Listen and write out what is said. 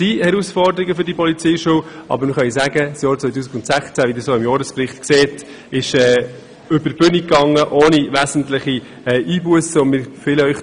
Es gibt Herausforderungen für die Polizeischule, aber das Jahr 2016 – Das können Sie auch dem Bericht entnehmen – ging ohne wesentliche Einbussen über die Bühne.